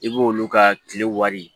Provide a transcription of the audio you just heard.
I b'olu ka kile wari